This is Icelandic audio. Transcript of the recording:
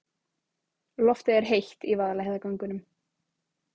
Loftið er heitt í Vaðlaheiðargöngum.